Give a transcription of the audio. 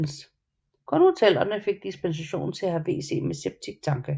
Kun hotellerne fik dispensation til at have WC med septiktanke